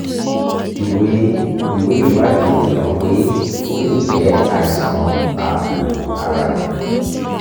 ìwé ìwé ìwádìí fi hàn pé ó lè jẹ́ àìsàn ààbò ara